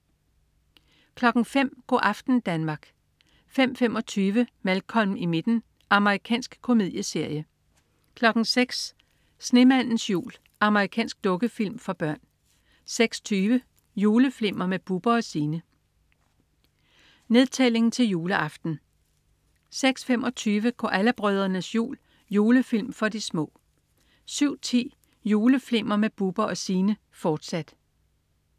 05.00 Go' aften Danmark 05.25 Malcolm i midten. Amerikansk komedieserie 06.00 Snemandens jul. Amerikansk dukkefilm for børn 06.20 Juleflimmer med Bubber & Signe. Nedtælling til juleaften 06.25 Koala brødrenes jul. Julefilm for de små 07.10 Juleflimmer med Bubber & Signe, fortsat